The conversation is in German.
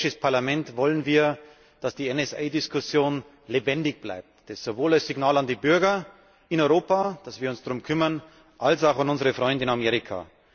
Als Europäisches Parlament wollen wir, dass die NSA Diskussion lebendig bleibt, sowohl als Signal an die Bürger in Europa, dass wir uns darum kümmern, als auch an unsere Freunde in Amerika.